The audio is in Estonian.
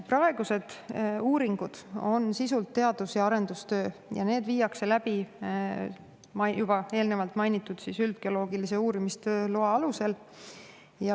" Praegused uuringud on sisult teadus- ja arendustöö, need viiakse läbi juba eelnevalt mainitud üldgeoloogilise uurimistöö loa alusel.